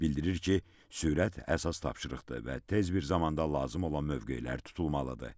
Bildirir ki, sürət əsas tapşırıqdır və tez bir zamanda lazım olan mövqelər tutulmalıdır.